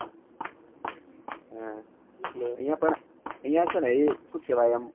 હા એટલે આયીયા પણ આયીયા છે ને શું કેહવાય આમ